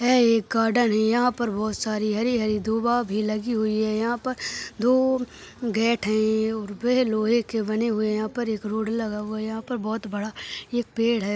यह एक गार्डन है यह पर बहुत सारी हरी हरी डूबा भी लागि हुई है यह पर दो गेट हे और वे लोहे के बने हुए है यह पर एक रोड लगा हुए है यह पर बहुत बड़ा पेड़ है।